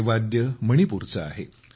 हे वाद्य मणिपूरचे आहे